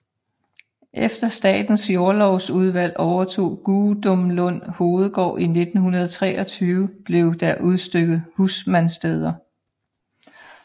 Efter Statens Jordlovsudvalg overtog Gudumlund Hovedgård i 1923 blev der udstykket husmandssteder